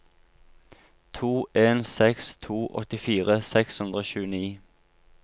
to en seks to åttifire seks hundre og tjueni